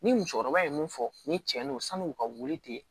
Ni musokɔrɔba ye mun fɔ ni tiɲɛ n'o san'u ka wuli ten